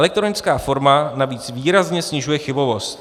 Elektronická forma navíc výrazně snižuje chybovost.